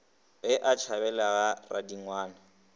ge a tšhabela ga radingwana